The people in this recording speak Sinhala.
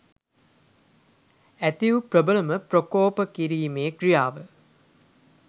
ඇති වූ ප්‍රබලම ප්‍රකෝප කිරිමේ ක්‍රියාව